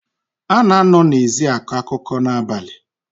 A na-anọ n’ezi akọ akụkọ n’abalị